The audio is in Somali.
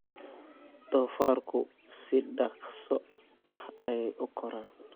Doofaarku si dhakhso ah ayey u koraan.